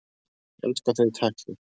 Ég elska þau í tætlur!